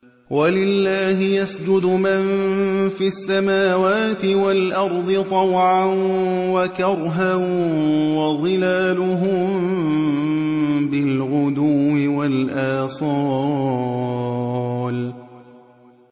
وَلِلَّهِ يَسْجُدُ مَن فِي السَّمَاوَاتِ وَالْأَرْضِ طَوْعًا وَكَرْهًا وَظِلَالُهُم بِالْغُدُوِّ وَالْآصَالِ ۩